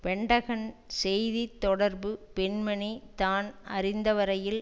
Pentagon செய்தி தொடர்பு பெண்மணி தான் அறிந்த வரையில்